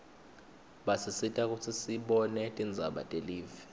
basisita kutsi sibone tindzaba telive